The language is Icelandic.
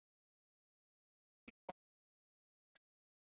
Þættir um nágrenni Reykjavíkur.